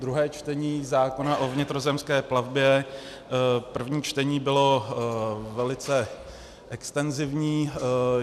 Druhé čtení zákona o vnitrozemské plavbě, první čtení bylo velice extenzivní.